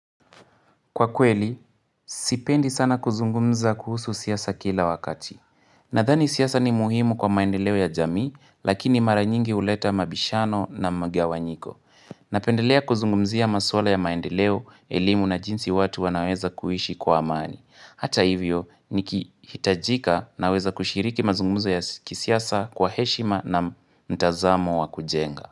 Kwa kweli, sipendi sana kuzungumza kuhusu siasa kila wakati. Nadhani siasa ni muhimu kwa maendeleo ya jamii, lakini mara nyingi huleta mabishano na magawanyiko. Napendelea kuzungumzia maswala ya maendeleo, elimu na jinsi watu wanaweza kuishi kwa amani. Hata hivyo, nikihitajika naweza kushiriki mazungumzo ya kisiasa kwa heshima na mtazamo wa kujenga.